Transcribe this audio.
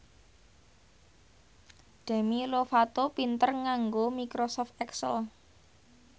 Demi Lovato pinter nganggo microsoft excel